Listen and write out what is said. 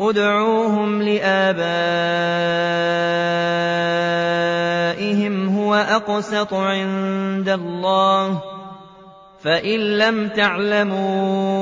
ادْعُوهُمْ لِآبَائِهِمْ هُوَ أَقْسَطُ عِندَ اللَّهِ ۚ فَإِن لَّمْ تَعْلَمُوا